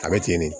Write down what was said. A bɛ ten de